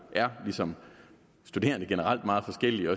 er ligesom studerende generelt meget forskellige og